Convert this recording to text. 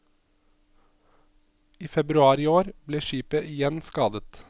I februar i år ble skipet igjen skadet.